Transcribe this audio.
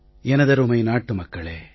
எனதருமை நாட்டு மக்களே